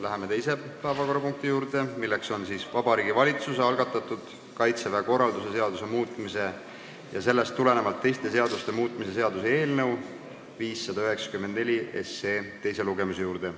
Läheme teise päevakorrapunkti, Vabariigi Valitsuse algatatud Kaitseväe korralduse seaduse muutmise ja sellest tulenevalt teiste seaduste muutmise seaduse eelnõu 594 teise lugemise juurde.